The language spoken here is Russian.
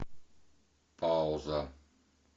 пауза